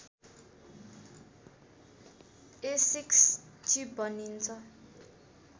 Asics chip भनिन्छ